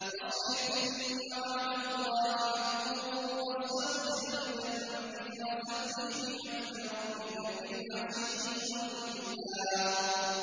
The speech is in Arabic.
فَاصْبِرْ إِنَّ وَعْدَ اللَّهِ حَقٌّ وَاسْتَغْفِرْ لِذَنبِكَ وَسَبِّحْ بِحَمْدِ رَبِّكَ بِالْعَشِيِّ وَالْإِبْكَارِ